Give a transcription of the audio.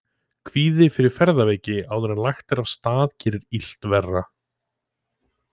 Kvíði fyrir ferðaveiki áður en lagt er af stað gerir illt verra.